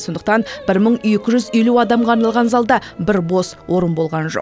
сондықтан бір мың екі жүз елу адамға арналған залда бір бос орын болған жоқ